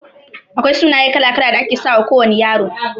Akwai sunaye kala-kala da ake sawa kowana Ƴaro.